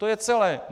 To je celé!